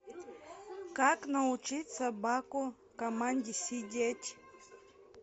как научить собаку команде сидеть